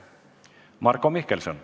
Marko Mihkelson.